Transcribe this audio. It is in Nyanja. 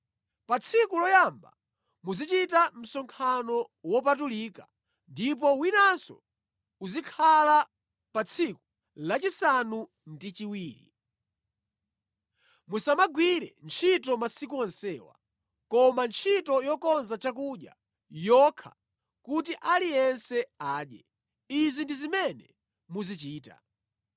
Pa tsiku loyamba muzichita msonkhano wopatulika, ndipo winanso uzikhala pa tsiku lachisanu ndi chiwiri. Musamagwire ntchito masiku onsewa, koma ntchito yokonza chakudya yokha kuti aliyense adye. Izi ndi zimene muzichita.